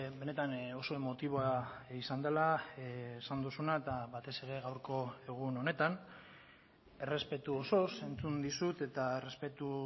benetan oso emotiboa izan dela esan duzuna eta batez ere gaurko egun honetan errespetu osoz entzun dizut eta errespetu